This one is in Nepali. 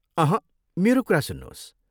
अहँ, मेरो कुरा सुन्नुहोस्।